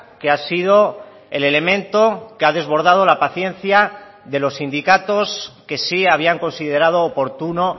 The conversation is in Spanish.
que ha sido el elemento que ha desbordado la paciencia de los sindicatos que sí habían considerado oportuno